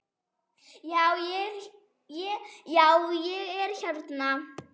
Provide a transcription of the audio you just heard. Já, ég er hérna.